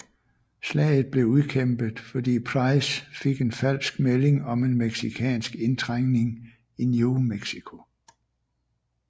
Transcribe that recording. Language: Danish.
Slaget blev udkæmpet fordi Price fik en falsk melding om en mexicansk indtrængning i New Mexico